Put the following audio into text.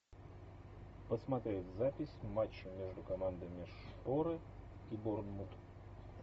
посмотреть запись матча между командами шпоры и борнмут